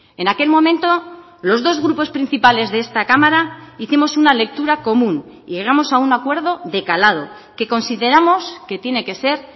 en aquel momento los dos grupos principales de esta cámara hicimos una lectura común y llegamos a un acuerdo de calado que consideramos que tiene que ser